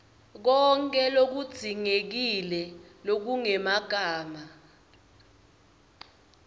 konkhe lokudzingekile lokungemagama